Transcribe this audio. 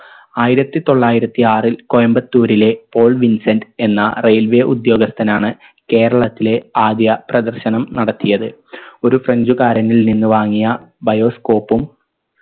ആയിരത്തി തൊള്ളായിരത്തി ആറിൽ കോയമ്പത്തൂരിലെ പോൾ വിൻസെന്റ് എന്ന railway ഉദ്യോഗസ്ഥനാണ് കേരളത്തിലെ ആദ്യ പ്രദർശനം നടത്തിയത് ഒരു french കാരനിൽ നിന്ന് വാങ്ങിയ bioscope ഉം